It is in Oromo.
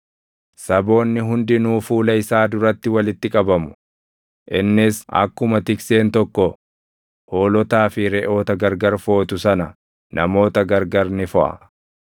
Saboonni hundinuu fuula isaa duratti walitti qabamu; innis akkuma tikseen tokko hoolotaa fi reʼoota gargar footu sana namoota gargar ni foʼa.